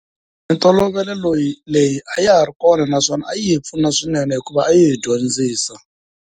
Mintolovelo loyi, leyi a ya ha ri kona naswona a yi hi pfuna swinene hikuva a yi hi dyondzisa.